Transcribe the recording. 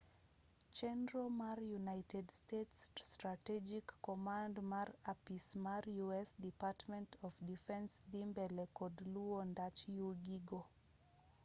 chenro mar united states strategic command mar apis mar u s department of defense dhi mbele kod luwo ndach yugi go